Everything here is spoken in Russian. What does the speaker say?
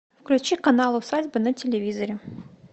включи канал усадьба на телевизоре